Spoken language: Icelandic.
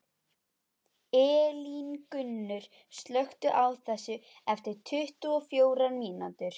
Elíngunnur, slökktu á þessu eftir tuttugu og fjórar mínútur.